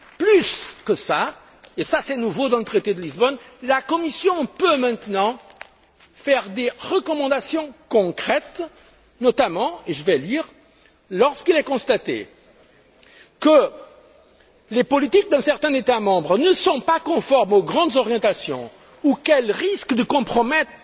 Plus que cela, et c'est nouveau dans le traité de Lisbonne, la Commission peut maintenant faire des recommandations concrètes, notamment, et je vais lire Lorsqu'il est constaté que les politiques d'un certain État membre ne sont pas conformes aux grandes orientations ou qu'elles risquent de compromettre